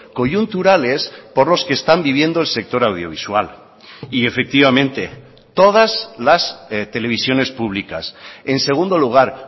coyunturales por los que están viviendo el sector audiovisual y efectivamente todas las televisiones públicas en segundo lugar